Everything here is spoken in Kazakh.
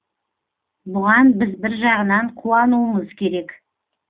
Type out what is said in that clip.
бұған біз бір жағынан қуануымыз керек